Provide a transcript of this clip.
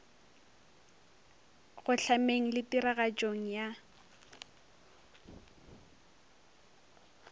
go hlameng le tiragatšong ya